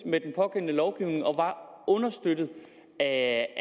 med den pågældende lovgivning og var understøttet af